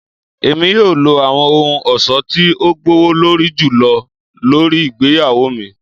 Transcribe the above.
Emi yoo lo awọn ohun ọṣọ ti o gbowolori julọ lori igbeyawo mi